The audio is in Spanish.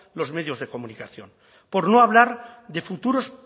los medios de comunicación por no hablar de futuros